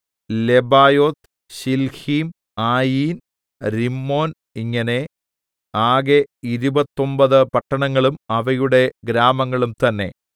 Lebaoth Shilhim Ain Rimmon ഇങ്ങനെ ആകെ ഇരുപത്തൊമ്പത് പട്ടണങ്ങളും അവയുടെ ഗ്രാമങ്ങളും തന്നേ